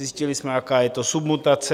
Zjistili jsme, jaká je to submutace.